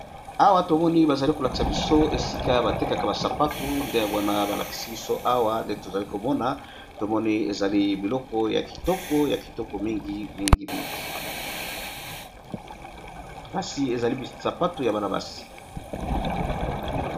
Awa bazali kolakisa biso esika batekaka ba sapatu ndeyango balakisi biso ndewana bazo lakisa biso ezali biloko yakitoko mingi mingi kasi ezali ba sapatu ya Bana basi.